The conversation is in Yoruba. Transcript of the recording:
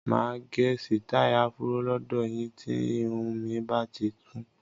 Máa gẹ sitai afuro lọdọ yín tí irun mi bati kún.